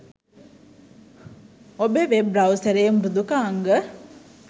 ඔබේ වෙබ් බ්‍රවුසරයේ මෘදුකාංග